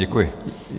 Děkuji.